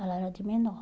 Ela era de menor.